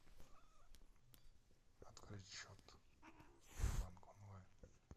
открыть счет сбербанк онлайн